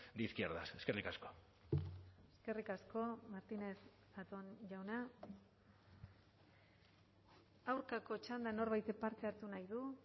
de izquierdas eskerrik asko eskerrik asko martínez zatón jauna aurkako txandan norbaitek parte hartu nahi du